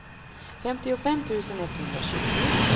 femtiofem tusen etthundratjugo